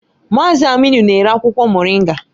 Mazị Aminu na-ere akwụkwọ Moringa